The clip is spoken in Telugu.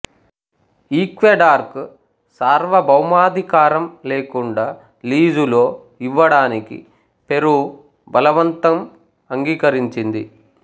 ఈక్వెడార్కు సార్వభౌమాధికారం లేకుండా లీజులో ఇవ్వడానికి పెరూ బలవంతం అంగీకరించింది